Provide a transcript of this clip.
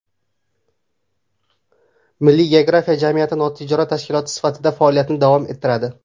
Milliy geografiya jamiyati notijorat tashkiloti sifatida faoliyatini davom ettiradi.